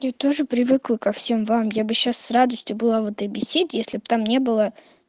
я тоже привыкла ко всем вам я бы сейчас с радостью была в этой беседе если бы там не было